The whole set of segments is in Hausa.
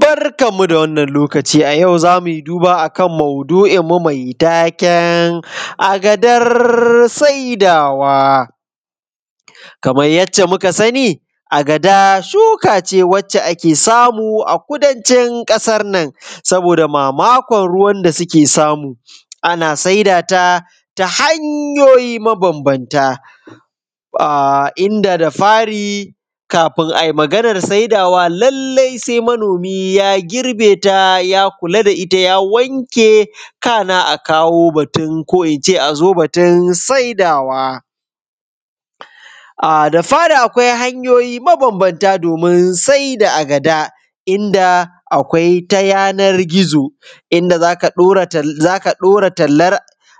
Barkanmu da wannan lokaci a wannan lokaci a yau zamu duba akan maudu’inmu mai taken agadar saidawa. Kamar yace muka sani, agada shukace wacce ake samu a kudancin ƙasan nan saboda mamakon ruwan da suke samu, ana saidata ta hanyoyi mabambamta, a inda da fari ƙafin ai maganan saidawa lallai sai manomi ya girbeta ya kula da ita, ya wanke kana a kawo batun ko ince a zo batun saidawa. A da fari akwai hanyoyi mabambamta domun sai da agada, inda akwai ta yanar gida, inda zaka ɗaura talar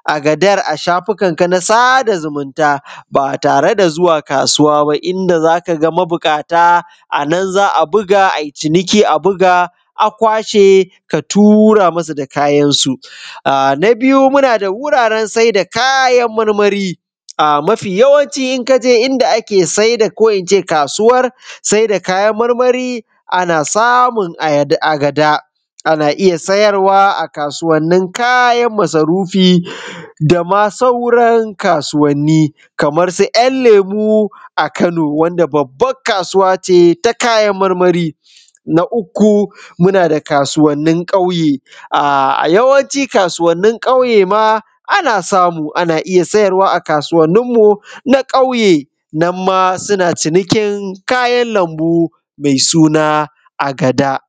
a gadar a shafukanka na sada zumunta, ba tare da zuwa kasuwa ba, inda zaka ga mabuƙata anan za a buga ai ciniki, a buga a kwashe ka tura musu da kayansu. Na biyu muna da wuraren sai da kayan marmari, a mafi yawanci in kaje inda ake saida kayan, ko ince kasuwar saida kayan marmari ana samun agada, ana iya sayarwa a kasuwannin kayan masarufi, dama sauran kasuwanni. Kamar su ‘yan lemo a Kano, wadda babban kasuwa ce ta kayan marmari. Na uku muna da kasuwannin kauye, a a yawanci kasuwanin ƙauyema ana samun ana iya sayarwa a kasuwanninmu na ƙauye, nan ma suna cinikin kayan lambu mai suna agada.